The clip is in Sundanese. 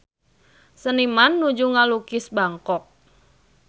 Seniman nuju ngalukis Bangkok